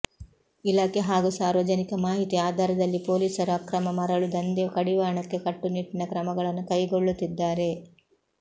ಇಲಾಖೆ ಹಾಗೂ ಸಾರ್ವಜನಿಕ ಮಾಹಿತಿ ಆಧಾರದಲ್ಲಿ ಪೊಲೀಸರು ಅಕ್ರಮ ಮರಳು ದಂಧೆ ಕಡಿವಾಣಕ್ಕೆ ಕಟ್ಟುನಿಟ್ಟಿನ ಕ್ರಮಗಳನ್ನು ಕೈಗೊಳ್ಳುತ್ತಿದ್ದಾರೆ